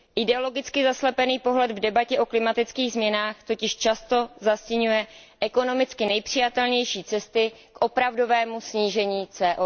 Ideologicky zaslepený pohled v debatě o klimatických změnách totiž často zastiňuje ekonomicky nejpřijatelnější cesty k opravdovému snížení emisí CO